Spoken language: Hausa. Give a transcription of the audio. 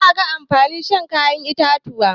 Za a ga amfanin shan kayan itatuwa.